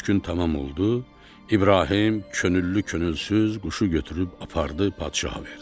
Üç gün tamam oldu, İbrahim könüllü-könülsüz quşu götürüb apardı padşaha verdi.